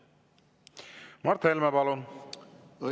Mart Helme, palun!